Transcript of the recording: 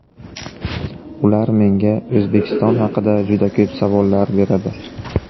Ular menga O‘zbekiston haqida juda ko‘p savollar beradi.